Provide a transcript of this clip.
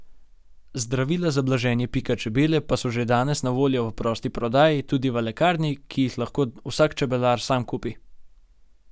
Zdravila za blaženje pika čebele pa so že danes na voljo v prosti prodaji tudi v lekarni in jih lahko vsak čebelar sam kupi.